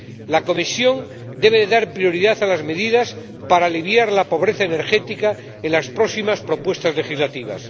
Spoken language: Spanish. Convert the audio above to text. La Comisión debe dar prioridad a medidas destinadas a aliviar la pobreza energética en las próximas propuestas legislativas.